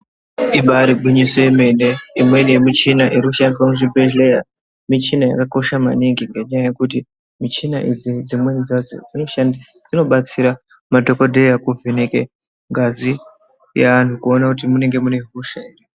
Ibari gwinyiso yemene mimweni yemichina irikushandiswa muzvibhodhlera michina yakakosha maningi ngenyaya yekuti michina idzi dzimweni dzacho dzinobatsira madhokodheya kuvheneke ngazi yeanhu kuine kuti munonga mune hosha ere.